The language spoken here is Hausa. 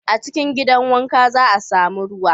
A cikin gidan wanka, za a sami ruwa.